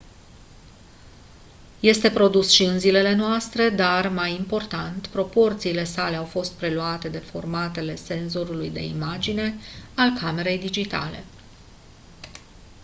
este produs și în zilele noastre dar mai important proporțiile sale au fost preluate de formatele senzorului de imagine al camerei digitale